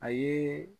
A ye